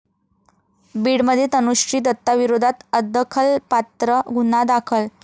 बीडमध्ये तनुश्री दत्ताविरोधात अदखलपात्र गुन्हा दाखल